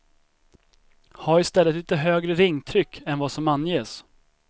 Ha i stället litet högre ringtryck än vad som anges.